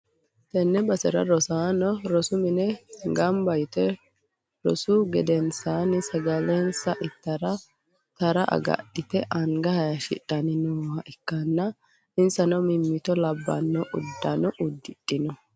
Tenne basera rosaano rosu mine gamba yite rosu gedensaanni sagalensa ittara tara agadhite anga hashshidhanni nooha ikkanna, insano mimmito labbanno uddano uddidhinoreeti.